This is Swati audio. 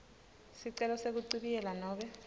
sicelo sekuchibiyela nobe